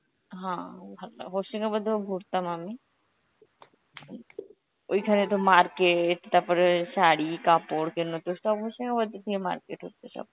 হ্যান ভালো লা~ হশিমাবাদেও ঘুরতাম আমি, ওইখানে তো market, তারপরে শাড়ি কাপড় কেনোতো সব হশিমাবাদে গিয়ে market হত সব.